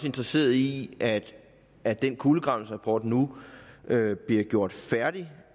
interesseret i at at den kulegravningsrapport nu bliver gjort færdig